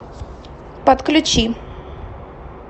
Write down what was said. подключи